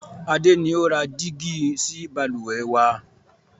Adé ni ó ra dígí sì Balùwẹ́ wàá.